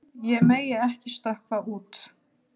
Ég megi ekki stökkva út.